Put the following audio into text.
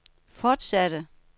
fortsatte